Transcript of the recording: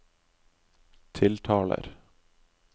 tiltaler